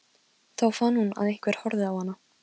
Þá fann hún að einhver horfði á hana.